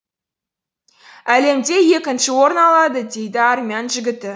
әлемде екінші орын алады дейді армян жігіті